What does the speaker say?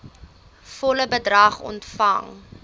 volle bedrag ontvang